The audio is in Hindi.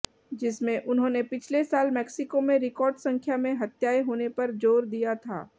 जिसमे उन्होंने पिछले साल मैक्सिको में रिकार्ड संख्या में हत्याएं होने पर जोर दिया था